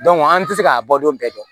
an tɛ se k'a bɔ don bɛɛ dɔn